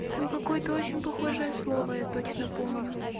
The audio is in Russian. там какое-то очень похожее слово я точно помню